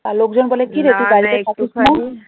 আর লোকজন বলে